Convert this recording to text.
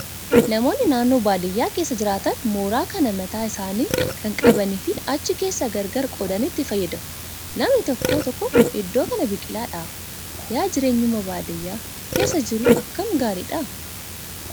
Namoonni naannoo baadiyyaa keessa jiraatan mooraa kan mataa isaanii kan qabanii fi achi keessa gargar qoodanii itti fayyadamu. Namni tokko tokko idoo kaan biqilaa dhaaba. Yaa jireenyuma baadiyyaa keessa jiru akkam gaariidha